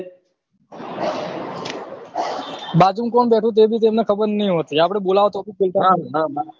બાજુમાં કોણ બેઠું હી એભી તેમને ખબર નહી હોતી આપડે બોલાઓ તો ભી